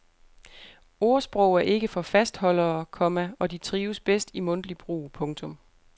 Ordsprog er ikke for fastholdere, komma og de trives bedst i mundtlig brug. punktum